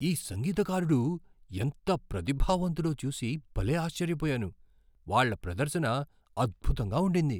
ఈ సంగీతకారుడు ఎంత ప్రతిభావంతుడో చూసి భలే ఆశ్చర్యపోయాను. వాళ్ళ ప్రదర్శన అద్భుతంగా ఉండింది.